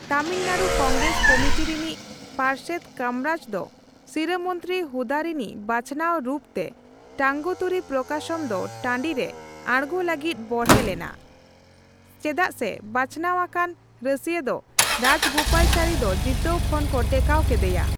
Tamil Nadu Congress committee ᱨᱤᱱᱤᱡ ᱯᱟᱨᱥᱮᱫ ᱠᱟᱢᱨᱟᱡ ᱫᱚ ᱥᱤᱨᱟᱹᱢᱚᱱᱛᱨᱤ ᱦᱩᱫᱟ ᱨᱤᱱᱤᱡ ᱵᱟᱪᱷᱱᱟᱣ ᱨᱩᱯ ᱛᱮ ᱴᱟᱝᱜᱩᱛᱩᱨᱤ ᱯᱨᱚᱠᱟᱥᱚᱢ ᱫᱚ ᱴᱟᱺᱰᱤ ᱨᱮ ᱟᱲᱜᱳ ᱞᱟᱹᱜᱤᱫ ᱵᱚᱲᱦᱮ ᱞᱮᱱᱟ, ᱪᱮᱫᱟᱜ ᱥᱮ ᱵᱟᱪᱱᱟᱣ ᱟᱠᱟᱱ ᱨᱟᱹᱥᱤᱭᱟᱹ ᱫᱚ ᱨᱟᱡᱜᱳᱯᱟᱞᱟᱪᱟᱨᱤ ᱫᱚ ᱡᱤᱛᱟᱹᱣ ᱠᱷᱚᱱ ᱠᱚ ᱴᱮᱠᱟᱣ ᱠᱮᱫᱮᱭᱟ ᱾